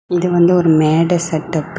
இது வந்து ஒரு மேடை செட்டப்பு .